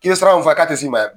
K'i ye sira min fɔ k'a tɛ s'i ma ya